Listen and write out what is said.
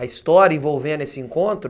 A história envolvendo esse encontro?